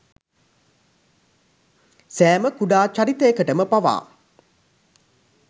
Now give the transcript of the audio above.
සෑම කුඩා චරිතයකටම පවා